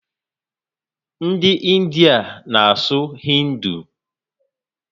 Ndị India na asụ hindu